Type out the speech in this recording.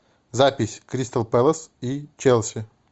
запись кристал пэлас и челси